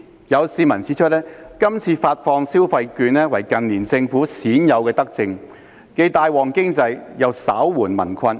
有市民指，是次發放消費券為近年政府鮮有德政，既帶旺經濟，又稍紓民困。